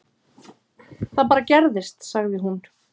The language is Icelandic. Það bara gerðist, sagði hún.